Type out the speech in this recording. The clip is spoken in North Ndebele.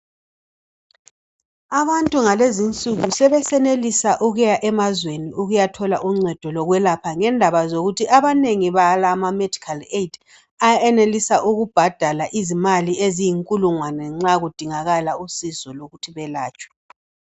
Abantu ngalezinsuku sebesenelisa ukuya emazweni ukuyathola uncedo lokwelapha ngendaba zokuthi banengi balama medikhali eyidi ayenelisa ukubhadala izimali eziyinkulungwane nxa kudingakala usizo lokuthi belatshwe.